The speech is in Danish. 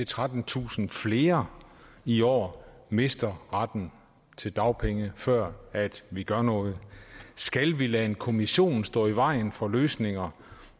trettentusind flere i år mister retten til dagpenge før vi gør noget skal vi lade en kommission stå i vejen for løsninger